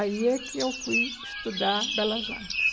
Aí é que eu fui estudar Belas Artes.